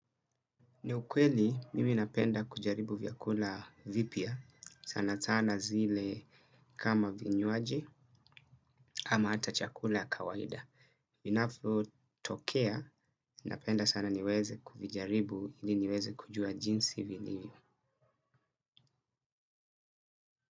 Ni ukweli, mimi napenda kujaribu vyakula vipya, sana sana zile kama vinywaji kama hata chakula ya kawaida. Vinavyotokea, napenda sana niweze kuvijaribu ili niweze kujua jinsi vilivyo.